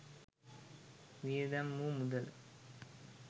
වියදම් වූ මුදල